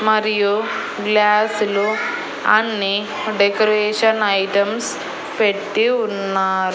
మరియు గ్లాస్ లు అన్నీ డెకరేషన్ ఐటమ్స్ పెట్టి ఉన్నా--